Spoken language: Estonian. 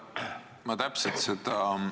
Ma tänan!